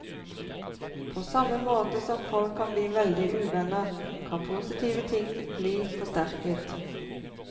På samme måte som folk kan bli veldig uvenner, kan positive ting bli forsterket.